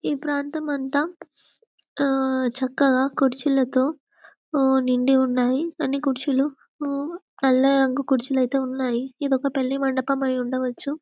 ఈ ప్రాంతము అంతా అ చక్కగా క్రుచ్చిలతో నిండి ఉన్నాయి అన్ని కుర్చీలు నల్ల రంగు క్రుచిలో యితే ఉన్నాయి ఇదీ ఒక పెళ్లిమండపం యి ఉండవచ్చు.